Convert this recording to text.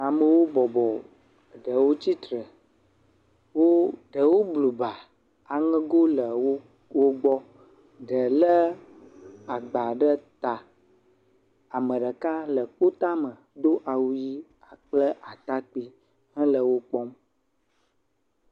Amewo bɔbɔ, ɖewo tsitre, wo, ɖewo blu ba, aŋego le wo gbɔ, ɖe léagba ɖe ta, ame ɖeka le kpotame do awu ʋɛ̃ kpakple atakpui hele wo kpɔm.